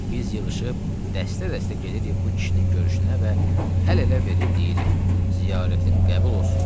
Biz yığışıb dəstə-dəstə gedirik bu kişinin görüşünə və əl-ələ verib deyirik: ziyarətin qəbul olsun.